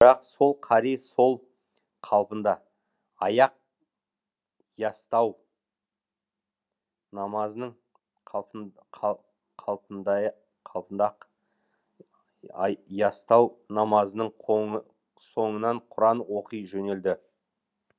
бірақ сол қари сол қалпында аяқ ястау намазының қалпында ястау намазының соңынан құран оқи жөнелді